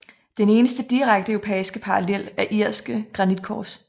Den eneste direkte europæiske parallel er irske granitkors